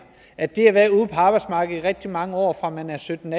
at det at være ude på arbejdsmarkedet i rigtig mange år fra man er sytten